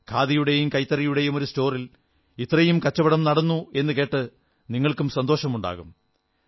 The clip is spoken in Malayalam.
ഖാദിയുടെയും കൈത്തറിയുടെയും ഒരു സ്റ്റോറിൽ ഇത്രയും കച്ചവടം നടന്നു എന്നു കേട്ട് നിങ്ങൾക്കും സന്തോഷമുണ്ടായിട്ടുണ്ടാകും